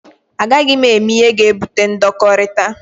A gaghị m eme ihe ga-ebute ndọkọrita.